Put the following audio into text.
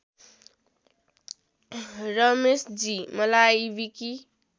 रमेशजी मलाई विकी